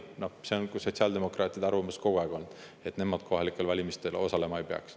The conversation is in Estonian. See on sotsiaaldemokraatide arvamus kogu aeg olnud.